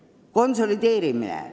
Edasi, konsolideerimine.